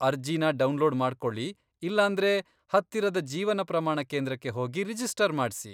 ಅರ್ಜಿನ ಡೌನ್ಲೋಡ್ ಮಾಡ್ಕೊಳಿ ಇಲ್ಲಾಂದ್ರೆ ಹತ್ತಿರದ ಜೀವನ ಪ್ರಮಾಣ ಕೇಂದ್ರಕ್ಕೆ ಹೋಗಿ ರಿಜಿಸ್ಟರ್ ಮಾಡ್ಸಿ.